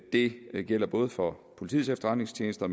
det gælder både for politiets efterretningstjeneste og